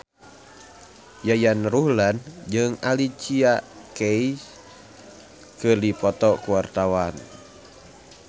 Yayan Ruhlan jeung Alicia Keys keur dipoto ku wartawan